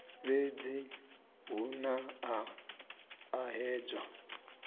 fhedzi hu na u ṱahedzwa